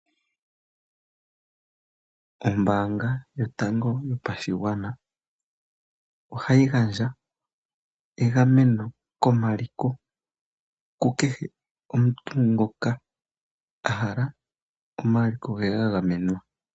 Ombaanga yotango yopashigwana ohayi gandja egameno komaliko ku kehe omuntu ngoka a hala omaliko ge ga gamenwa.